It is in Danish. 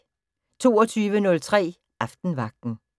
22:03: Aftenvagten